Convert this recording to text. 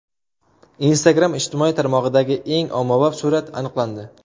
Instagram ijtimoiy tarmog‘idagi eng ommabop surat aniqlandi.